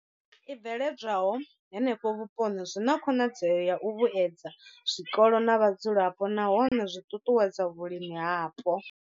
I bveledzwaho henefho vhuponi zwi na khonadzeo ya u vhuedza zwikolo na vhadzulapo nahone zwi ṱuṱuwedza vhulimi hapo.